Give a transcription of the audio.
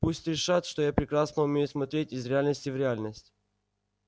пусть решат что я прекрасно умею смотреть из реальности в реальность